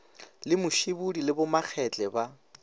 le musibudi le bomakgetle ba